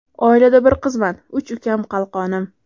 Oilada bir qizman, uch ukam qalqonim.